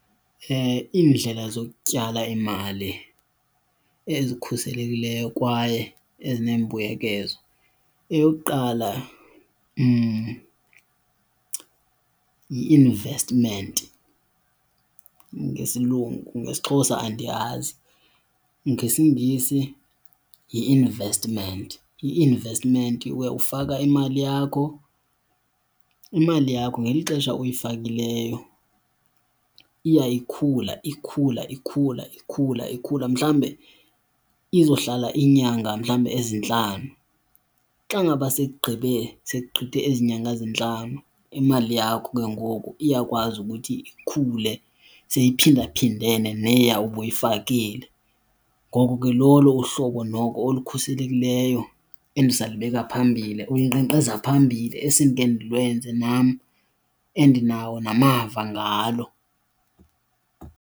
Iindlela zokutyala imali ezikhuselekileyo kwaye ezinembuyekezo, eyokuqala, yile yi-investment ngesilungu, ngesiXhosa andiyazi, ngesiNgesi yi-investment. I-investment ufaka imali yakho, imali yakho ngeli xesha uyifakileyo iya ikhula, ikhula, ikhula, ikhula, ikhula. Mhlawumbe izohlala iinyanga mhlawumbi ezintlanu. Xa ngaba seyigqibe, sekugqithe ezi nyanga zintlanu imali yakho ke ngoku iyakwazi ukuthi ikhule seyiphindaphindene neya ubuyifakile. Ngoko ke lolo uhlobo noko olukhuselekileyo endisalibeka phambili, olunkqenkqeza phambili esendike ndilwenze nam endinawo namava ngalo.